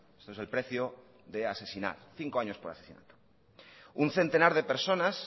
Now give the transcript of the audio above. este es el precio por asesinar cinco año por asesinato un centenar de personas